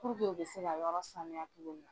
Puruke u bɛ se ka yɔrɔ sanuya cogo min na.